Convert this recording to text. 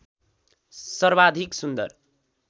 सर्वाधिक सुन्दर